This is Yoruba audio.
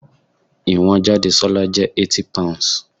Ìwọ̀n Jadesola jẹ́ 80 pounds.